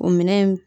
O minɛn in